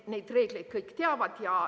Neid reegleid kõik teavad.